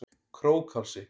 Krókhálsi